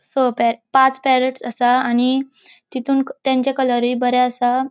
स पे पाच पॅरटस असा आणि तितुन तेंचे कलरुय बरे आसा.